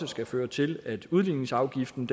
skal føre til at udligningsafgiften